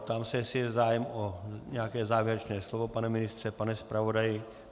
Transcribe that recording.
Ptám se, jestli je zájem o nějaké závěrečné slovo - pane ministře, pane zpravodaji?